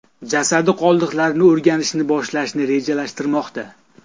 jasadi qoldiqlarini o‘rganishni boshlashni rejalashtirmoqda.